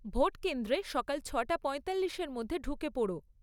Vote কেন্দ্রে সকাল ছটা পঁয়তাল্লিশের মধ্যে ঢুকে পোড়ো।